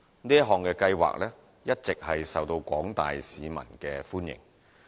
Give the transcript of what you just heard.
這項計劃一直受到廣大市民歡迎。